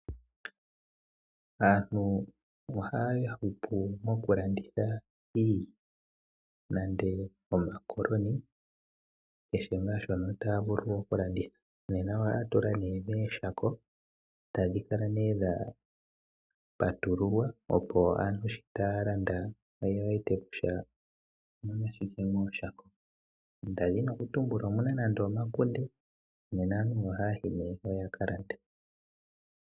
Aantu oha ya hupu mokulanditha iilya nande omakoloni, kehe ngaa shono taa vulu okulanditha. Nena oha ya tula nee meeshako tadhi kala nee dhapatululwa opo aantu shi taya landa oye wete kutya omu na shike moshako, ndadhina okutumbula omuna nande omakunde , nena aantu oha ya yi nee mpeya yakalande.